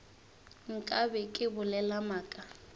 nka be ke bolela maaka